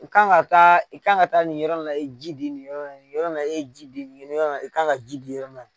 I kan ka taa i kan ka taa nin yɔrɔ in na i ye ji di nin yɔrɔ nin yɔrɔ in na e ye ji di nin yɔrɔ nin i kan ka ji di yɔrɔ min na